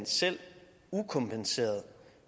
selv ukompenseret